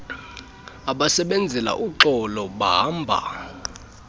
abasebenzela uxolo bahamba